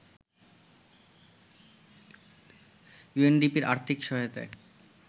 ইউএনডিপির আর্থিক সহায়তায়